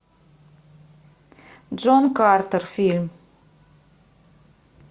джон картер фильм